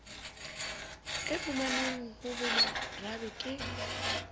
a fumanwang ho bomarabe ke